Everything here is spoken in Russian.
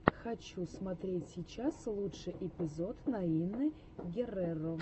хочу смотреть сейчас лучший эпизод наины герреро